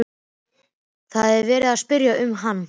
Það var verið að spyrja um hann.